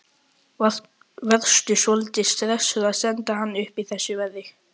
Varstu svolítið stressaður að senda hana upp í þessu veðri?